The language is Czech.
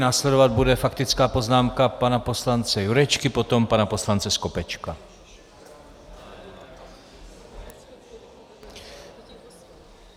Následovat bude faktická poznámka pana poslance Jurečky, potom pana poslance Skopečka.